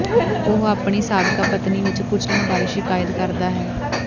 ਉਹ ਆਪਣੀ ਸਾਬਕਾ ਪਤਨੀ ਵਿਚ ਕੁਚਲਣ ਬਾਰੇ ਸ਼ਿਕਾਇਤ ਕਰਦਾ ਹੈ